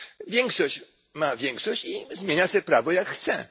Większość ma większość i zmienia sobie prawo jak chce.